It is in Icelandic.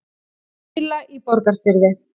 Baula í Borgarfirði.